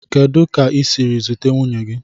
Kedu ka i siri zute nwunye gi?